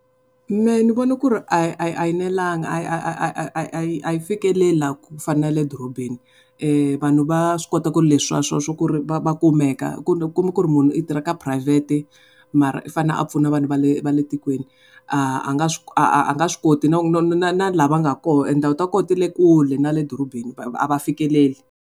Mehe ni vona ku ri a yi nelanga a yi fikeleli laha ku fana na le dorobeni vanhu va swi kota ku ri leswi va kumeka kuma ku ri munhu i tirha ka phurayivhete mara i fane a pfuna vanhu va le va le tikweni a a nga a nga swi koti na laha va nga kona tindhawu ta kona ti le kule na le dorobeni a va fikeleli.